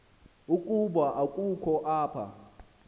ukuba ukho apha